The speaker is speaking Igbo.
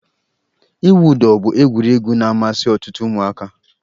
Ịwụ ụdọ bụ egwuregwu na-amasị ọtụtụ ụmụaka.